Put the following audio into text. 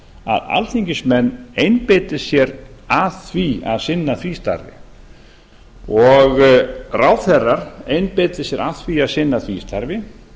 að alþingismenn einbeiti sér að því að sinna því starfi og ráðherrar einbeiti sér að því að sinna því starfi